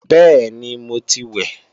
Bẹ́ẹ̀ni, mo ti wẹ̀